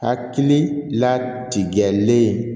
Hakili la tigɛlen